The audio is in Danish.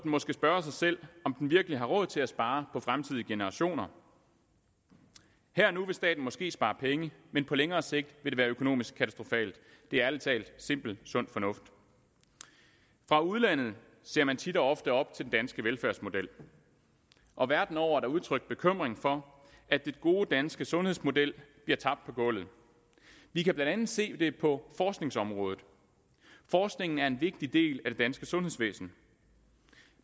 måske spørge sig selv om den virkelig har råd til at spare på fremtidige generationer her og nu vil staten måske spare penge men på længere sigt vil det være økonomisk katastrofalt det er ærlig talt simpel sund fornuft fra udlandet ser man tit og ofte op til den danske velfærdsmodel og verden over er der udtrykt bekymring for at den gode danske sundhedsmodel bliver tabt på gulvet vi kan blandt andet se det på forskningsområdet forskningen er en vigtig del af det danske sundhedsvæsen